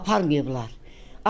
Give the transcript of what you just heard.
Aparmayıblar.